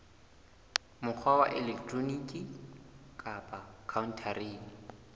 mokgwa wa elektroniki kapa khaontareng